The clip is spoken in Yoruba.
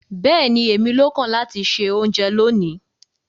Bẹ́ẹ̀ni, émi ló kàn láti ṣẹ ọ̀unjẹ lónì